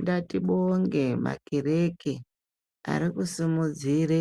Ngati bonge makare ari kusimudzire